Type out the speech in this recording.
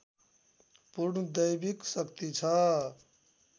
पूर्ण दैविक शक्ति छ